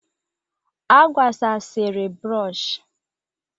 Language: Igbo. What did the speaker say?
A gbasasịrị bụrọshị.